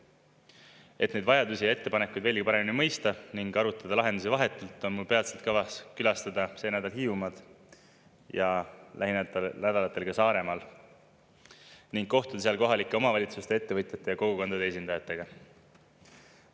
Et neid vajadusi ja ettepanekuid veelgi paremini mõista ning arutada lahendusi vahetult, on mul peatselt kavas külastada, see nädal Hiiumaad ja lähinädalatel ka Saaremaad ning kohtuda seal kohalike omavalitsuste, ettevõtjate ja kogukondade esindajatega.